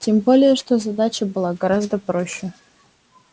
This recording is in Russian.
тем более что задача была гораздо проще